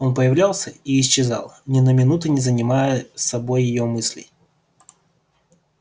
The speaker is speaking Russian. он появлялся и исчезал ни на минуту не занимая собой её мыслей